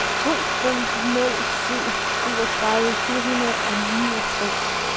to fem nul syv syvogtredive fire hundrede og niogtres